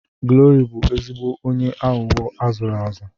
Glory bụ ezigbo onye aghụghọ azụrụ azụ.